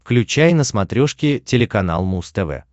включай на смотрешке телеканал муз тв